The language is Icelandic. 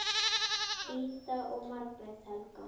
Ida og Margrét Helga.